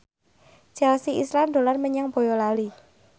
Chelsea Islan dolan menyang Boyolali